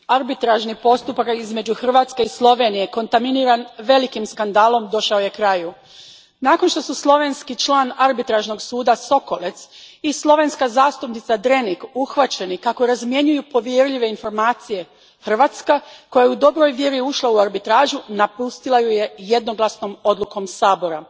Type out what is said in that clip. Gospodine predsjedniče, arbitražni postupak između Hrvatske i Slovenije, kontaminiran velikim skandalom, došao je kraju. Nakon što su slovenski član Arbitražnog suda Sekolec i slovenska zastupnica Drenik uhvaćeni kako razmjenjuju povjerljive informacije, Hrvatska koja je u dobroj vjeri ušla u arbitražu napustila ju je jednoglasnom odlukom Sabora.